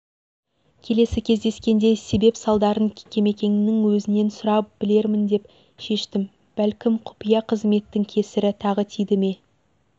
келесі кездескенде себеп-салдарын кемекеңнің өзінен сұрап білермін деп шештім бәлкім құпия қызметтің кесірі тағы тиді ме